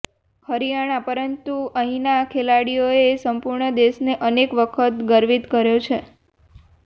હરિયાણા પરંતુ અહીંના ખેલાડીઓએ સંપૂર્ણ દેશને અનેક વખત ગર્વિત કર્યા છે